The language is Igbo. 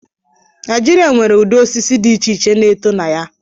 Naijiria nwere ụdị osisi dị iche iche na-eto na ya.